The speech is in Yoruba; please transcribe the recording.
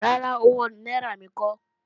Rárá, owó náírà mi kọ́